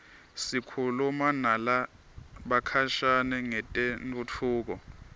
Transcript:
sikhuluma nalabakhashane ngetentfutfuko